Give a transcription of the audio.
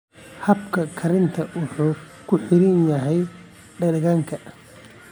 Habka karinta wuxuu ku xiran yahay dhadhanka.